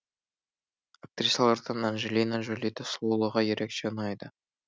актрисалардан анджелина джолидің сұлулығы ерекше ұнайды